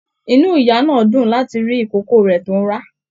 Inú ìyá náà dún láti rí ikòkò rẹ tó n rá.